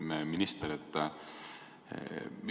Lugupeetud minister!